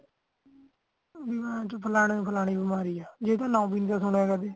ਹੁਣ ਫਲਾਣੇ ਨੂੰ ਫਲਾਣੀ ਬਿਮਾਰੀ ਹਾ ਜਿੰਦਾ ਨਾਮ ਹੀ ਨਹੀਂ ਸੁਣਿਆ ਕਦੀ